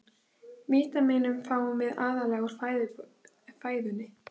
Vítamínin fáum við aðallega úr fæðunni.